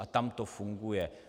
A tam to funguje.